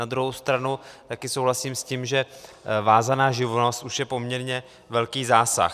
Na druhou stranu taky souhlasím s tím, že vázaná živnost už je poměrně velký zásah.